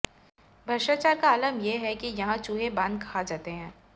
भ्रष्टाचार का आलम ये है की यहाँ चूहे बाँध खा जाते हैं